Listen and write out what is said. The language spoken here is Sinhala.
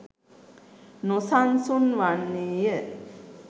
නොසන්සුන් වන්නේය.